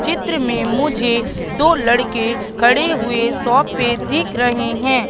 चित्र में मुझे दो लड़के खड़े हुए शॉप पे दिख रहे हैं।